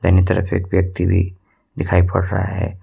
दाहिनीं तरफ एक व्यक्ति भी दिखाई पड़ रहा है।